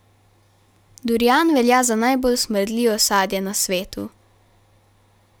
Durian velja za najbolj smrdljivo sadje na svetu.